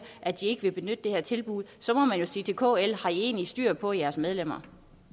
at de ikke vil benytte det her tilbud så må man jo sige til kl har i egentlig styr på jeres medlemmer